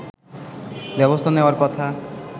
ব্যবস্থা নেওয়ার কথা